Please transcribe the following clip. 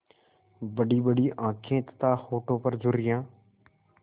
बड़ीबड़ी आँखें तथा होठों पर झुर्रियाँ